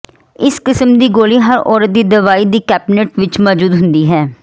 ਇਸ ਕਿਸਮ ਦੀ ਗੋਲੀ ਹਰ ਔਰਤ ਦੀ ਦਵਾਈ ਦੀ ਕੈਬਿਨੇਟ ਵਿੱਚ ਮੌਜੂਦ ਹੁੰਦੀ ਹੈ